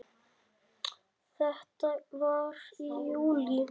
Þetta var í júlí.